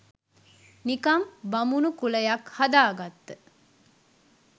නිකන් බමුනු කුලයක් හදාගත්ත